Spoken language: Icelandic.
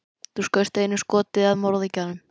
Þú skaust einu skoti að morðingjanum.